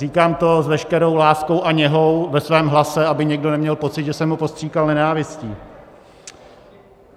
Říkám to s veškerou láskou a něhou ve svém hlase, aby někdo neměl pocit, že jsem ho postříkal nenávistí.